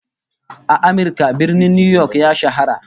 A Amirka, Birnin New York ya shahara